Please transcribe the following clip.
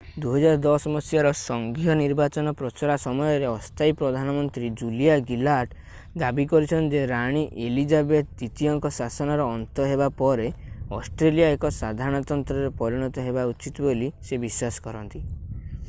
2010 ମସିହାର ସଙ୍ଘୀୟ ନିର୍ବାଚନ ପ୍ରଚାର ସମୟରେ ଅସ୍ଥାୟୀ ପ୍ରଧାନମନ୍ତ୍ରୀ ଜୁଲିଆ ଗିଲାର୍ଡ ଦାବୀ କରିଛନ୍ତି ଯେ ରାଣୀ ଏଲିଜାବେଥ୍ ଦ୍ୱିତୀୟଙ୍କ ଶାସନର ଅନ୍ତ ହେବା ପରେ ଅଷ୍ଟ୍ରେଲିଆ ଏକ ସାଧାରଣତନ୍ତ୍ରରେ ପରିଣତ ହେବା ଉଚିତ ବୋଲି ସେ ବିଶ୍ୱାସ କରନ୍ତି